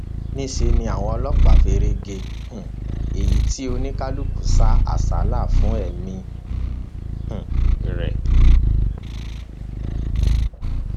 níṣẹ ni àwọn ọlọpàá feré gé um e tí oníkálukú sá àsálà fún ẹmí um rẹ